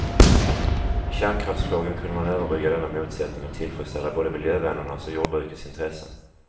I kärnkraftsfrågan kunde man överbrygga denna motsättning och tillfredsställa både miljövännernas och jordbrukets intressen.